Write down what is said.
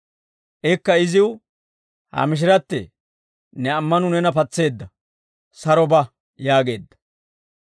Ikka iziw, «Ha mishirattee! Ne ammanuu neena patseedda; saro ba» yaageedda.